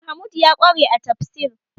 Mahmud ya ƙware a tafsir